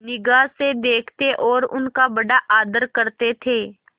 निगाह से देखते और उनका बड़ा आदर करते थे